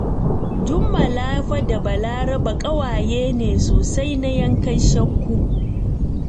Jummala fa da Balaraba ƙawaye ne sosai na yankan shakku!